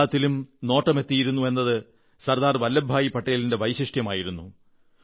എല്ലാത്തിലും നോട്ടമെത്തിക്കുക എന്നത് സർദാർ വല്ലഭഭായിയുടെ വൈശിഷ്ട്യമായിരുന്നു